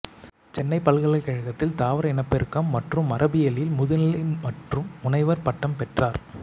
சென்னைப் பல்கலைக்கழகத்தில் தாவர இனப்பெருக்கம் மற்றும் மரபியலில் முதுநிலை மற்றும் முனைவர் பட்டம் பெற்றார்